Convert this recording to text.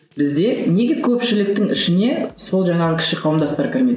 бізде неге көпшіліктің ішіне сол жаңағы кіші қауымдастар кірмейді